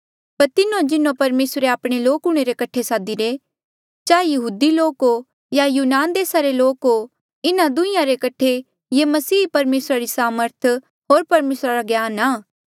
पर तिन्हो जिन्हों परमेसरे आपणे लोक हूंणे रे कठे सादीरे चाहें यहूदी लोक हो या यूनान देसा रे लोक हो इन्हा दुहीं रे कठे येह मसीह ही परमेसरा री सामर्थ होर परमेसरा रा ज्ञान आ